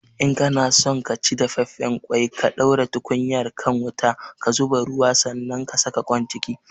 In kana son ka ci dafaffen ƙwai ka ɗaura tukunyar kan wuta, ka zuba ruwa sanan ka saka ƙoin ciki